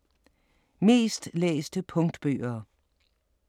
Mest læste punktbøger